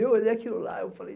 E eu olhei aquilo lá e eu falei...